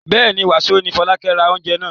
Bẹ́ẹ̀ ni, wàsó ni Fọlákẹ́ ra oúnjẹ náà.